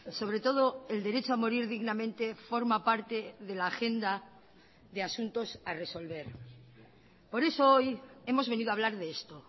sobre todo el derecho a morir dignamente forma parte de la agenda de asuntos a resolver por eso hoy hemos venido a hablar de esto